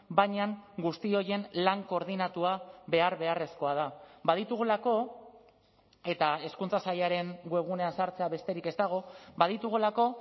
baina guzti horien lan koordinatua behar beharrezkoa da baditugulako eta hezkuntza sailaren webgunean sartzea besterik ez dago baditugulako